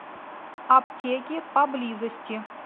аптеки поблизости